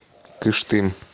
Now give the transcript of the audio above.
кыштым